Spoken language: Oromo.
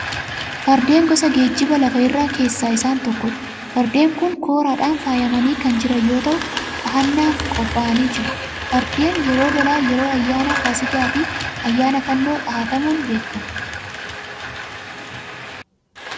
Fardeen gosa geejjiba lafa irraa keessaa isaan tokkodha. Fardeen kun kooraadhaan faayamanii kan jiran yoo ta'u, dhahannaaf qophaa'anii jiru. Fardeen yeroo lolaa, yeroo ayyaana faasigaa fi ayaana fannoo dhahatamuun beekamu.